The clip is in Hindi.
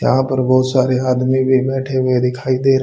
यहां पर बहोत सारे आदमी भी बैठे हुए दिखाई दे र--